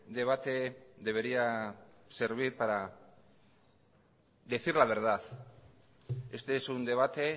debate debería servir para decir la verdad este es un debate